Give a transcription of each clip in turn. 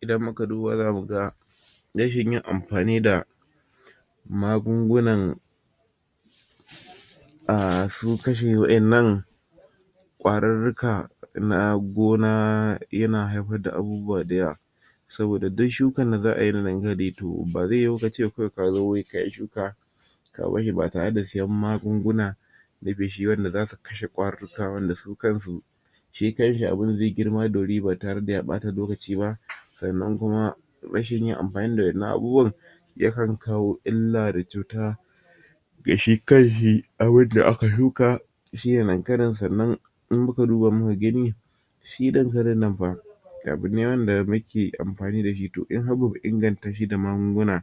idan muka duba za muga rashin yin amfani da magungunan su kansu wadannan kwari na gona yana haifar da abu da yawa saboda duk tshukan da za ayi da nangira reto ba zai yuyu kawai ka ce ka zo wuri kayi shuka ks barshi ba tare da sayan magunguna n feshi wanda za ka kashe kwari wanda su hansu shi kanshi zai yi girma nandanan ba tare da ya bata lokaci ba sannan kuma rashin yin amfani da maganin kwarriai ya kan kawo illa da cuta ga shi kanshi abun da aka shuka shi da dankalin sannan shi irinnan fa abu ne da muke amfani da shi to. dole ne mu ingananta shi da magunguna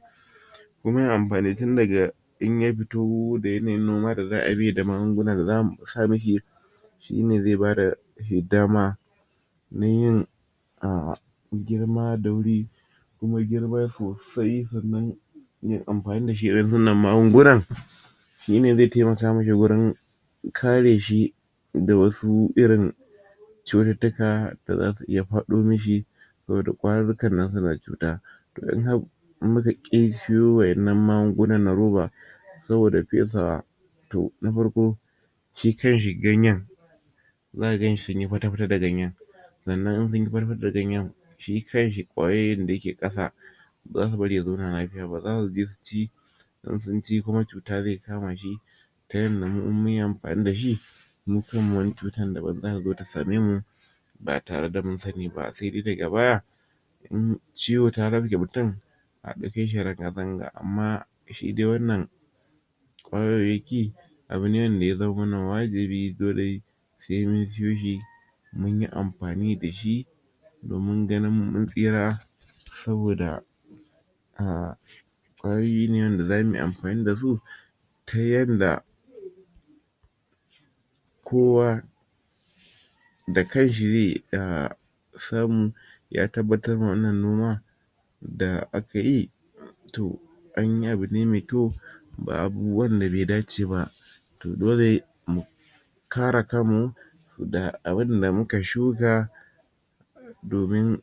kuma yana amfani tindaga in ya fito tindaga yanayin noma da za amishi da magununa da za a sa mishi shi ne zai ba da dama tinani yin zai yi girma da wuri kuma girma sosai amfani da irin wannan magungungn shi ne zai tai maka masa wajan kare shi da wasu irin da wasu irin cututtuka da za su iya kama shi saboda kwarin nan suna cuta to in har muka ki suwo magungun na roba sabida faisawa to na farko shi kanshi ganyan za su yi fata-fata da ganyan sannan in sun yi fata-fata da ganyen shi kan shi kwayoyin da ke kasa ba za su bar shi ya zauna lafiya ba za su je su ci in sun ci kuma cuta zai kama shi ta yadda mu in mun yi amfani da shi wata cuta za ta zo ta samai mu ba tare da mun sani ba sai dai daga baya ln ciwo ya rafke mutum daga baya a dauke shi ranga -ranga shi wannan kwayoyi abu ne wqnda ya zama mana wajibi sai mun suwo shi mun yi amfani da shi domin ganin mun tsira saboda magungunan da za mu yi amfani da su ta yadda kowa da kanshi zai ya samu ya tabbatar ma wannan noma da aka yi to anyi abu ne mai kyau ba abubuwan da bai dace ba dole mu kare kammu da abun da muka shuka domin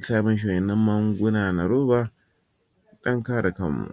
sa mishi wnnan magunguna na roba dan kare kammu